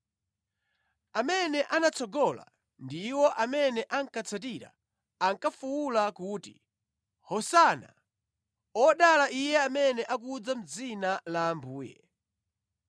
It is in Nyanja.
Amene anatsogola ndi iwo amene ankatsatira ankafuwula kuti, “Hosana! “Odala Iye amene akudza mʼdzina la Ambuye!”